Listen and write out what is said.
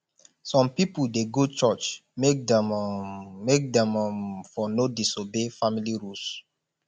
some pipol dey go church make dem um make dem um for no disobey family rules